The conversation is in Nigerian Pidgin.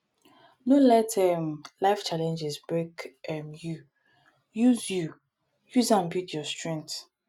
no let um life challenges break um you use you use am build your strength